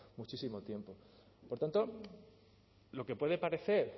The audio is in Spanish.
muchísimo tiempo por tanto lo que puede parecer